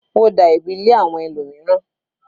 Ó da ẹ̀bi lé àwọn ẹlòmíràn.